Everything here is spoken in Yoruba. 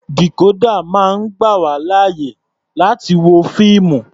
Dìkódà máa ń gbà wá láyè láti wo fíìmù.